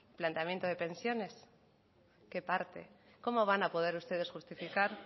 planteamiento de pensiones qué parte cómo van a poder ustedes justificar